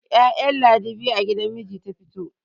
ya'yan ladi biyu a gidan miji ta fito